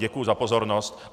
Děkuji za pozornost.